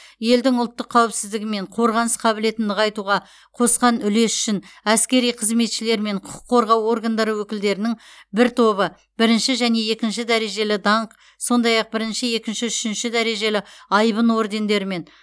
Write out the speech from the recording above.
елдің ұлттық қауіпсіздігі мен қорғаныс қабілетін нығайтуға қосқан үлесі үшін әскери қызметшілер мен құқық қорғау органдары өкілдерінің бір тобы бірінші және екінші дәрежелі даңқ сондай ақ бірінші екінші үшінші дәрежелі айбын ордендерімен